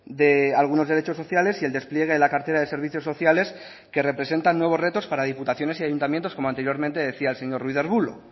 de algunos derechos sociales y el despliegue de la cartera de servicios sociales que representan nuevos retos para diputaciones y ayuntamientos como anteriormente decía el señor ruiz de arbulo